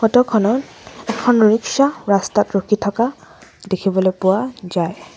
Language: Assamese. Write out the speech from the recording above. ফটোখনত এখন ৰিক্সা ৰাস্তাত ৰখি থকা দেখিবলৈ পোৱা যায়।